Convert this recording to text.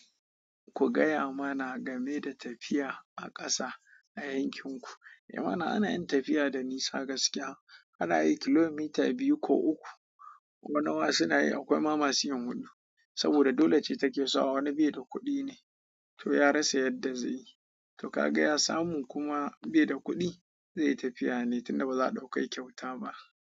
Ku gaya mana game da tafiya a ƙasa a yankin ku. Eh mana ana yin tafiya da nisa gaskiya. Ana yi kilomita biyu ko uku ko nawa suna yi, akwai ma masu yin huɗu. Saboda dole ce take sawa wani bai da kuɗi ne, to ya rasa yadda zai yi. To ka ga ya samu kuma baida kuɗi, zai yi tafiya ne tunda ba za ɗauke shi kyauta ba.